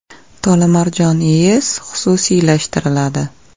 Tolimarjon IES xususiylashtiriladi.